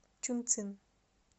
чунцин